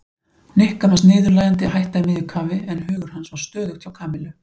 Nikka fannst niðurlægjandi að hætta í miðju kafi en hugur hans var stöðugt hjá Kamillu.